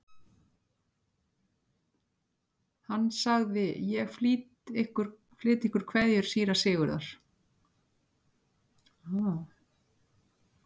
Hann sagði: Ég flyt ykkur kveðju síra Sigurðar.